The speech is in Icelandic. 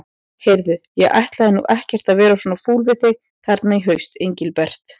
Heyrðu. ég ætlaði nú ekkert að vera svona fúll við þig þarna í haust, Engilbert.